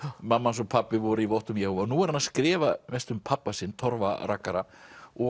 mamma hans og pabbi voru í vottum Jehóva nú er hann að skrifa mest um pabba sinn Torfa rakara og